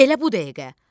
Elə bu dəqiqə!